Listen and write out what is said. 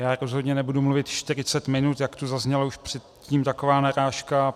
Já rozhodně nebudu mluvit 40 minut, jak tu zazněla už předtím taková narážka.